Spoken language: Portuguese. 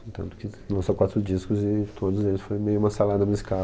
Tanto que lançou quatro discos e todos eles foi meio uma salada musical.